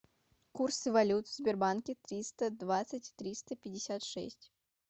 курсы валют в сбербанке триста двадцать триста пятьдесят шесть